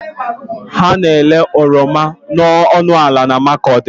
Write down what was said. A na-ere oroma ọnụ ala na Makurdi.